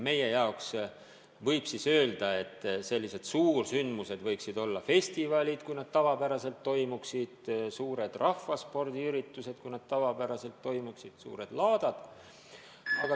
Eestis võib öelda, et suursündmused võiksid olla festivalid, kui need tavapäraselt toimuksid, suured rahvaspordiüritused, kui need tavapäraselt toimuksid, suured laadad.